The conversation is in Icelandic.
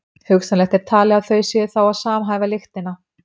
hugsanlegt er talið að þau séu þá að samhæfa lyktina